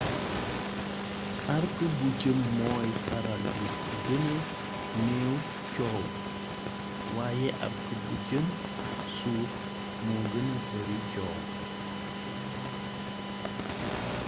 arc bu jëm mooy faral di gëna néew coow waaye arc bu jëm suuf moo gëna bari coow